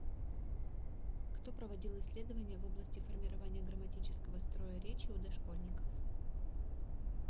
кто проводил исследование в области формирования грамматического строя речи у дошкольников